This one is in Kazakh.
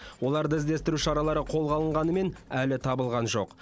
оларды іздестіру шаралары қолға алынғанымен әлі табылған жоқ